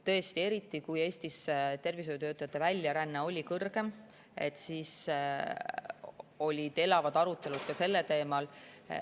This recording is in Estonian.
Tõesti, eriti siis, kui tervishoiutöötajate väljaränne Eestist oli, olid elavad arutelud sellel teemal.